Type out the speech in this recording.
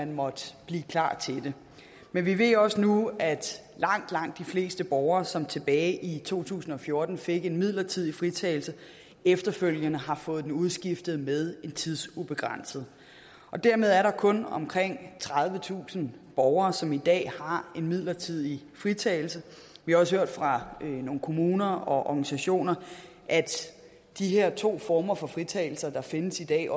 måtte blive klar til det men vi ved også nu at langt langt de fleste borgere som tilbage i to tusind og fjorten fik en midlertidig fritagelse efterfølgende har fået den udskiftet med en tidsubegrænset og dermed er der kun omkring tredivetusind borgere som i dag har en midlertidig fritagelse vi har også hørt fra nogle kommuner og organisationer at de her to former for fritagelse der findes i dag